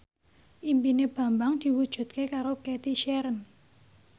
impine Bambang diwujudke karo Cathy Sharon